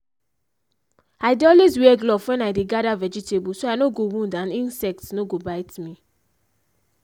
i dey always wear gloves when i dey gather vegetable so i no go wound and insect no go bite me.